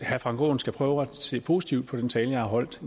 herre frank aaen skal prøve at se positivt på den tale jeg har holdt